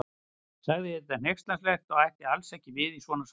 Sagði þetta hneykslanlegt og ætti alls ekki við í svona samkvæmi.